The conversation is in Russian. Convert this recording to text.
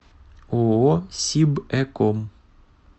ооо сибэком